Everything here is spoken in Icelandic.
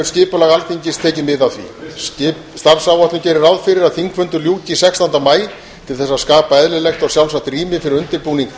skipulag alþingis tekið mið af því starfsáætlun gerir ráð fyrir að þingfundum ljúki sextánda maí til þess að skapa eðlilegt og sjálfsagt rými fyrir undirbúning